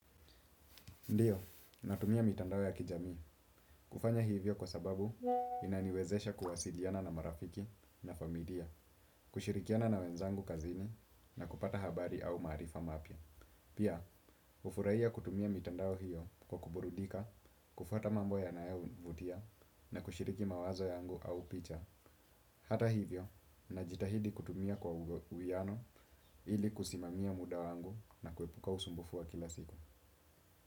Ndio, natumia mitandao ya kijamii. Kufanya hivyo kwa sababu inaniwezesha kuwasiliana na marafiki na familia, kushirikiana na wenzangu kazini na kupata habari au maarifa mapya. Pia, hufurahia kutumia mitandao hiyo kwa kuburudika, kufuata mambo ya nayovutia na kushiriki mawazo yangu au picha. Hata hivyo, najitahidi kutumia kwa uwiano ili kusimamia muda wangu na kuepuka usumbufu wa kila siku.